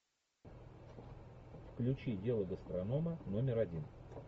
включи дело гастронома номер один